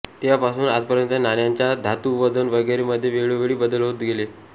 तेव्हापासून आजपर्यंत नाण्यांच्या धातू वजन वगैरे मध्ये वेळोवेळी बदल होत गेले